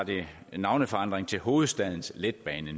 navneforandring til hovedstadens letbane